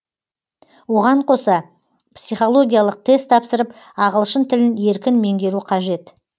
оған қоса психологиялық тест тапсырып ағылшын тілін еркін меңгеру қажет